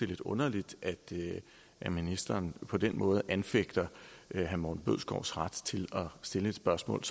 lidt underligt at ministeren på den måde anfægter herre morten bødskovs ret til at stille et spørgsmål